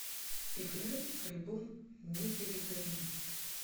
играй альбом не перегорим